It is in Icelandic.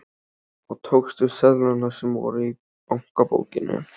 Og tókstu seðlana sem voru í bankabókinni?